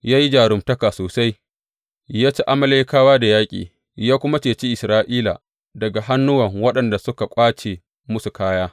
Ya yi jaruntaka sosai, ya ci Amalekawa da yaƙi, ya kuma ceci Isra’ila daga hannuwan waɗanda suka ƙwace musu kaya.